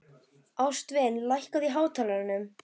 Ástvin, lækkaðu í hátalaranum.